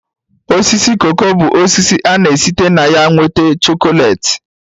Osisi koko bụ osisi ana-esite na ya nwete chokolate